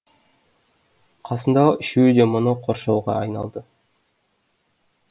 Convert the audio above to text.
қасындағы үшеуі де мұны қоршауға айналды